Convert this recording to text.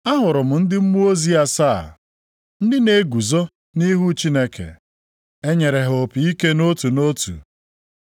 Ahụrụ m ndị mmụọ ozi asaa, ndị na-eguzo nʼihu Chineke. E nyere ha opi ike nʼotu nʼotu.